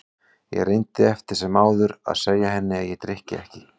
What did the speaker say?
Ég reyndi eftir sem áður að segja henni að ég drykki ekki.